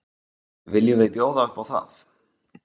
Viljum við bjóða upp á það?